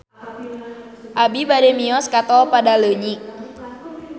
Abi bade mios ka Tol Padaleunyi